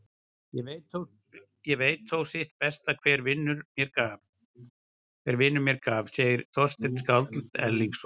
Ég veit þó sitt besta hver vinur mér gaf, segir Þorsteinn skáld Erlingsson.